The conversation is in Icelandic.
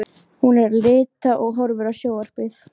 Hún er að lita og horfa á sjónvarpið.